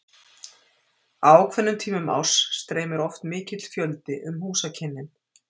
Á ákveðnum tímum árs streymir oft mikill fjöldi um húsakynnin.